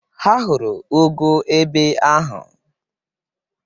Ha hụrụ ụgụ ebe ahụ.